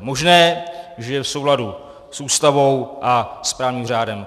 možné, že je v souladu s Ústavu a s právním řádem.